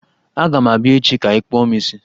Aga m abịa echi ka ịkpụọ m isi!